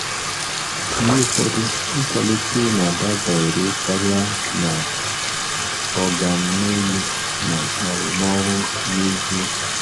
Mgbe ụfọdụ, nkwalite na-adabere karịa na “oga m n'elu” na arụmọrụ n'ezie.